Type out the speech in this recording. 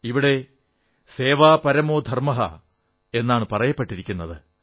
ഇവിടെ സേവാ പരമോ ധർമ്മഃ എന്നാണു പറയപ്പെട്ടിരിക്കുന്നത്